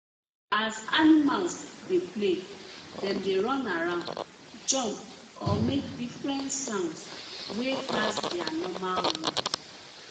as animals dey play dem dey run around jump or make different sounds wey pass their normal ones